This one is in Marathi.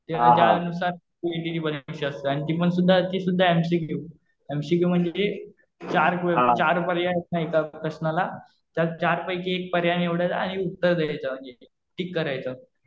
त्याच्यानुसार सीइटी ची परीक्षा असते. आणि ती पण सुध्दा, ती सुध्दा एमसीक्यू. एमसीक्यू म्हणजे चार पर्याय एका प्रश्नाला. ज्यात चार पैकी एक पर्याय निवडायचा आणि उत्तर द्यायचं म्हणजे टिक करायचं.